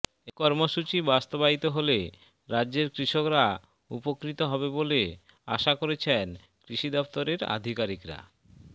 এই কর্মসূচি বাস্তবায়িত হলে রাজ্যের কৃষকরা উপকৃত হবে বলে আশা করছেন কৃষি দফতরের আধিকারিকরা